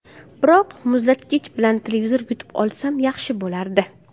Biroq muzlatgich bilan televizor yutib olsam, yaxshi bo‘lardi.